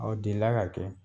delila ka kɛ